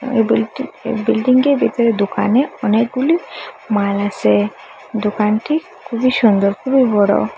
এই বিল্ডিং বিল্ডিঙ্গে র ভিতরে দোকানে অনেকগুলি মাল আসে দোকানটি খুবই সুন্দর খুবই বড় ।